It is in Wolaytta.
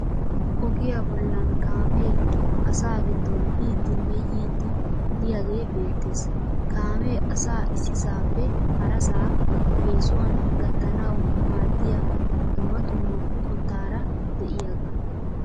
Ogiya bollan kaamee asaa giddon biiddinne yiidi diyagee beettes. Kaamee asaa issisaappe harasaa eesuwan gattanawu maaddiya dumma dumma qottaara de'iyaagaa.